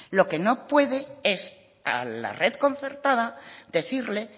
lo que no puede es a la red concertada decirle